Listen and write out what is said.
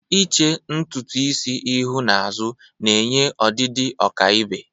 Iche ntutu isi ihu n'azụ na-enye ọdịdị ọkaibe.